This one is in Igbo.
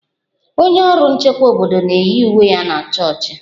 Onye ọrụ nchekwa obodo na-eyi uwe ya na chọọchị